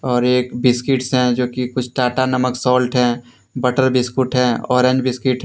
और एक बिस्किट्स हैं जो कि कुछ टाटा नमक साल्ट हैं बटर बिस्कुट है और अन्य बिस्किट है।